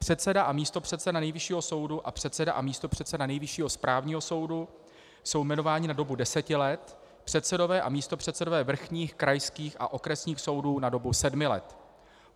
Předseda a místopředseda Nejvyššího soudu a předseda a místopředseda Nejvyššího správního soudu jsou jmenováni na dobu deseti let, předsedové a místopředsedové vrchních, krajských a okresních soudů na dobu sedmi let.